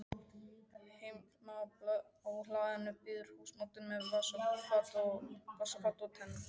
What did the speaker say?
Heima á hlaðinu bíður húsbóndinn með vaskafat og tengur.